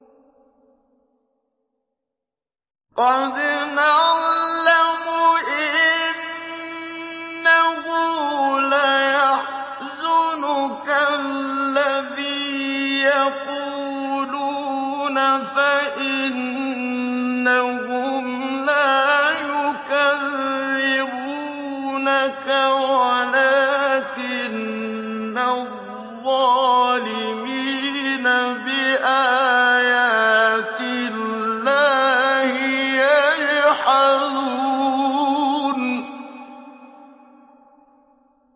قَدْ نَعْلَمُ إِنَّهُ لَيَحْزُنُكَ الَّذِي يَقُولُونَ ۖ فَإِنَّهُمْ لَا يُكَذِّبُونَكَ وَلَٰكِنَّ الظَّالِمِينَ بِآيَاتِ اللَّهِ يَجْحَدُونَ